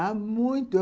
Ah, muito!